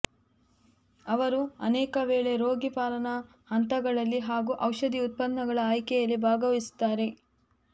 ಅವರು ಅನೇಕವೇಳೆ ರೋಗಿ ಪಾಲನಾ ಹಂತಗಳಲ್ಲಿ ಹಾಗೂ ಔಷಧಿ ಉತ್ಪನ್ನಗಳ ಆಯ್ಕೆಯಲ್ಲಿ ಭಾಗವಹಿಸುತ್ತಾರೆ